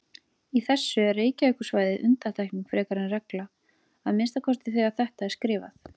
Í þessu er Reykjavíkursvæðið undantekning frekar en regla, að minnsta kosti þegar þetta er skrifað.